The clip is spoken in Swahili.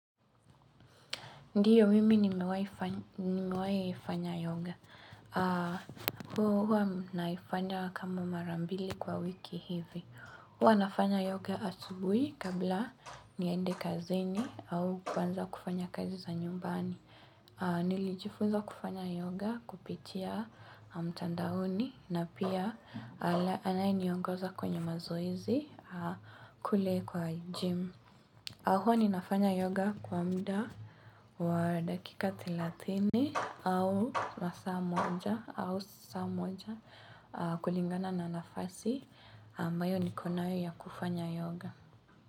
Ndiyo mimi nimewahi ifanya yoga. Huwa naifanya kama mara mbili kwa wiki hivi. Huwa nafanya yoga asubui kabla niende kazini au kuanza kufanya kazi za nyumbani. Nilijifunza kufanya yoga kupitia mtandaoni na pia anaye niongoza kwenye mazoezi kule kwa gym. Huwa ninafanya yoga kwa muda wa dakika thelathini au masaa moja au saa moja kulingana na nafasi. Ambayo nikonayo ya kufanya yoga.